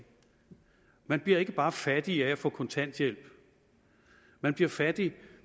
man bliver ikke bare fattig af at få kontanthjælp man bliver fattig